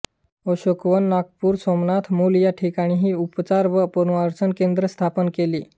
अशोकवन नागपूर सोमनाथ मूल या ठिकाणीही उपचार व पुनर्वसन केंद्रे स्थापन केली